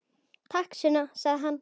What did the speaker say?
Takk, Sunna, sagði hann.